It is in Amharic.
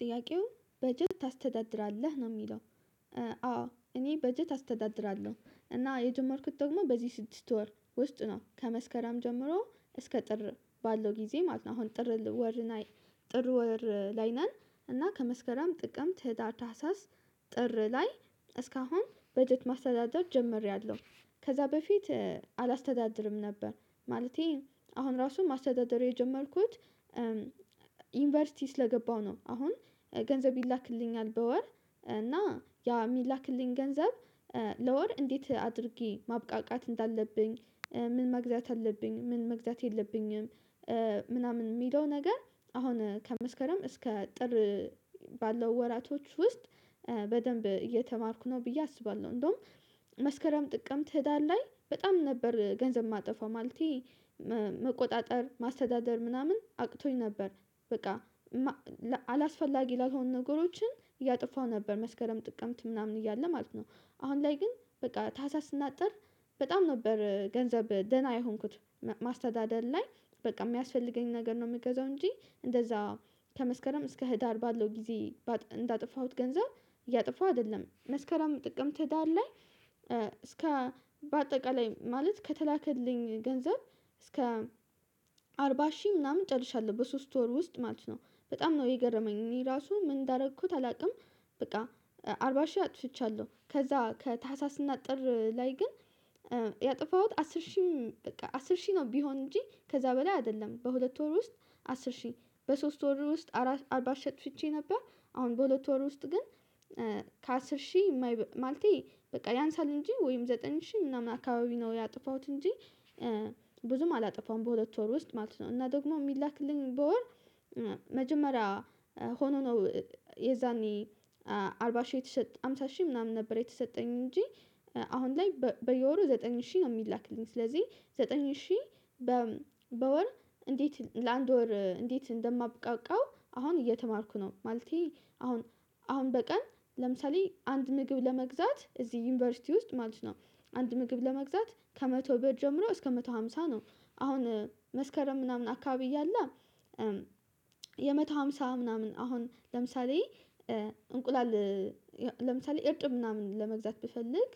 ጥያቄው በጀት ታስተዳድራለህ ነው የሚለው? አዎ እኔ በጀት አስተዳድራለሁ እና የጀመርኩት ደግሞ በዚህ ስድስት ወር ውስጥ ነው ከመስከረም ጀምሮ እስከ ጥር ባለው ጊዜ ማለት ነው። አሁን ጥር ወር ጥር ወር ላይ ነን እና ከመስከረም ጥቅም ህዳር ታህሳስ ጥር ላይ እስካሁን በጀት ማስተዳደር ጀምሬያለሁ ከዛ በፊት አላስተዳድርም ነበር ማለቴ አሁን ራሱ ማስተዳደር የጀመርኩት ዩኒቨርሲቲ ስለገባው ነው። አሁን ገንዘብ ይላክልኛል በወር እና ያ የሚላክልኝ ገንዘብ ለወር እንዴት አድርጌ ማብቃቃት እንዳለብኝ ምን መግዛት አለብኝ ምን መግዛት የለብኝም? ምናምን ሚለው ነገር አሁን ከመስከረም እስከ ጥር ባለው ወራቶች ውስጥ በደንብ እየተማርኩ ነው ብዬ አስባለሁ። እንደውም መስከረም ጥቅምት ህዳር ላይ በጣም ነበር ገንዘብ የማጠፋው ማለቴ መቆጣጠር ማስተዳደር ምናምን አቅቶኝ ነበር በቃ አላስፈላጊ ላልሆን ነገሮችን እያጠፋው ነበር መስከረም ጥቅምት ምናምን እያለ ማለት ነው። አሁን ላይ ግን በቃ ታህሳስ እና ጥር በጣም ነበር ገንዘብ ደህና የሆንኩት ማስተዳደር ላይ በቃ የሚያስፈልገኝ ነገር ነው የምገዛው እንጂ እንደዛ ከመስከረም እስከ ህዳር ባለው ጊዜ እንዳጠፋሁት ገንዘብ እያጠፋሁ አይደለም መስከራም ጥቅምት ህዳር ላይ እስከ በአጠቃላይ ማለት ከተላከልኝ ገንዘብ እስከ አርባ ሺህ ምናምን ጨርሻለሁ በሶስት ወር ውስጥ ማለት ነው በጣም ነው የገረመኝ እኔ ራሱ ምን እንዳደረኩት አላውቅም። በቃ አርባ ሺህ አጥፍቻለሁ ከዛ ከታህሳስ እና ጥር ላይ ግን ያጠፋሁት አስር ሺህም በቃ አስር ሺህ ነው ቢሆን እንጂ ከዛ በላይ አይደለም በሁለት ወር ውስጥ አስር ሺህ በሶስት ወር ውስጥ አርባ ሺ አጥፍቼ ነበር። አሁን በሁለት ወር ውስጥ ግን ከአስር ሺህ ማለቴ በቃ ያንሳል እንጂ ወይም ዘጠኝ ሺህ ምናምን አካባቢ ነው ያጠፋሁት እንጂ ብዙም አላጠፋውም በሁለት ወር ውስጥ ማለት ነው። እና ደግሞ ሚላክልኝ በወር መጀመሪያ ሆኖ ነው የዛኔ አርባ ሺህ የተሰጠ አምሳ ሺህ ምናምን ነበር የተሰጠኝ እንጂ አሁን ላይ በየወሩ ዘጠኝ ሺ ነው። የሚላክልኝ ስለዚህ ዘጠኝ ሺ በወር እንዴት ለአንድ ወር እንዴት እንደማብቃቃው አሁን እየተማርኩ ነው። ማለቴ አሁን አሁን በቀን ለምሳሌ አንድ ምግብ ለመግዛት እዚህ ዩኒቨርሲቲ ውስጥ ማለት ነው አንድ ምግብ ለመግዛት ከመቶ ብር ጀምሮ እስከ መቶ ሃምሳ ነው። አሁን መስከረም ምናምን አካባቢ እያለ የመቶ ሃምሳ ምናምን አሁን ለምሳሌ እንቁላል ለምሳሌ እርጥብ ምናምን ለመግዛት ብፈልግ